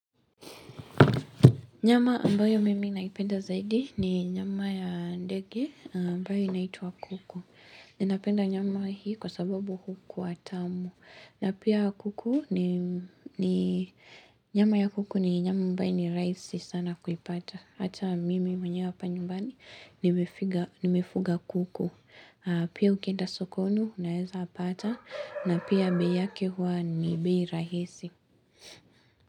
Nyama ambayo mimi naipenda zaidi ni nyama ya ndege ambayo inaitwa kuku. Ninapenda nyama hii kwa sababu hukuwa tamu. Na pia kuku ni nyama ya kuku ni nyama ambayo ni rahisi sana kuipata. Hata mimi mwenyewe hapa nyumbani nimefuga kuku. Pia ukienda sokoni unaweza pata na pia bei yake huwa ni bei rahisi.